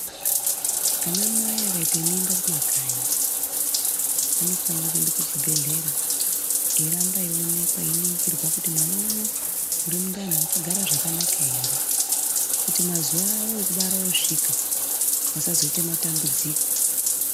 Anamai akaite mimba kumakanyi anofanira kuende kuchibhedhlera, eiramba eionekwa eiringirwa kuti mwana unowu uri mundani, wakagara zvakanaka ere ,kuti mazuwa awo ekubara osvika, asazoite matambudziko.